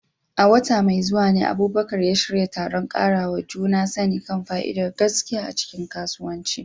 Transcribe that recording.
A wata mai zuwa ne Abubakar ya shirya taron ƙarawa juna sani kan fa'idar gaskiya a cikin kasuwanci.